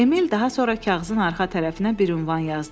Emil daha sonra kağızın arxa tərəfinə bir ünvan yazdı.